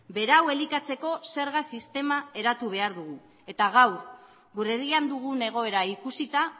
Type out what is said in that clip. berau elikatzeko zerga sistema eratu behar dugu eta gaur gure herrian dugun egoera ikusita